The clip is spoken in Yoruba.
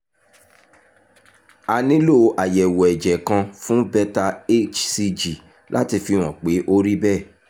a nílò àyẹ̀wò ẹ̀jẹ̀ kan fún beta hcg láti fihàn pé ó rí bẹ́ẹ̀